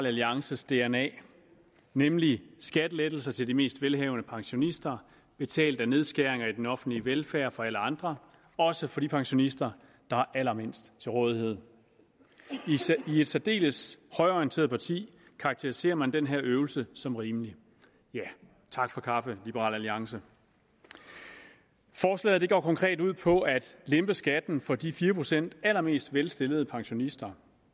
alliances dna nemlig skattelettelser til de mest velhavende pensionister betalt af nedskæringer i den offentlige velfærd for alle andre også for de pensionister der har allermindst til rådighed i et særdeles højreorienteret parti karakteriserer man den her øvelse som rimelig ja tak for kaffe liberal alliance forslaget går konkret ud på at lempe skatten for de fire procent allermest velstillede pensionister